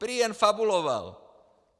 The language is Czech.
Prý jen fabuloval.